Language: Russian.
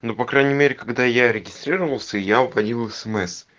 ну по крайней мере когда я регистрировался я удалил смс